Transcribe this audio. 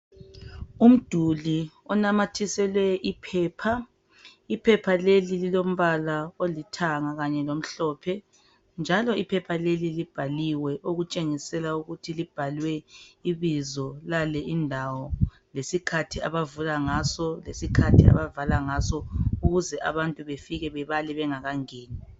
Umduli onamathiselwe iphepha iphepha leli lingumbala olithanga kanye lomhlophe njalo iphepha leli libhaliwe okutshengisela ukuthi libhalwe ibizo lale indawo lesikhathi abavula ngaso lesikhathi abavala ngaso ukuze abantu befike bebale bengakangeni